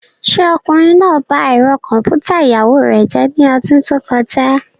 Ṣé ọkùnrin náà ba ẹ̀rọ kọ̀m̀pútà ìyàwó rẹ̀ jẹ́ ní ọdún tó kọjá?